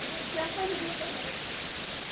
povo diz, rapaz, não vinha trabalhar.